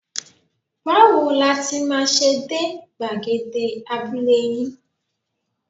Báwo la ti máa ṣe dé gbàgede abúlé yín?